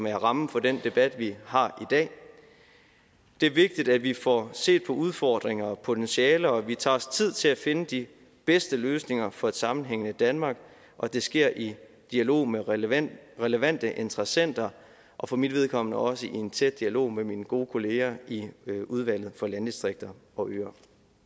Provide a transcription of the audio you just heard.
er rammen for den debat vi har i dag det er vigtigt at vi får set på udfordringer og potentialer og at vi tager os tid til at finde de bedste løsninger for et sammenhængende danmark og det sker i dialog med relevante relevante interessenter og for mit vedkommende også i en tæt dialog med mine gode kolleger i udvalget for landdistrikter og øer